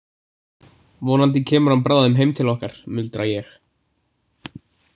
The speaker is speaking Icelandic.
Vonandi kemur hann bráðum heim til okkar, muldra ég.